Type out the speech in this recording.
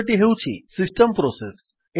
ଦ୍ୱିତୀୟଟି ହେଉଛି system process